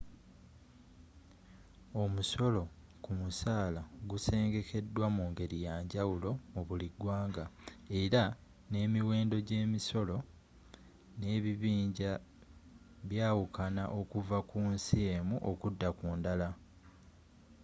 omusolo ku musaala gusengekeddwa mu ngeri yanjawulo mu buli gwanga era n'emiwendo gy'emisolo n'ebibinja byawukana okuva ku nsi emu okudda ku ndala